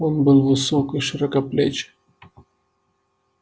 он был высок и широкоплеч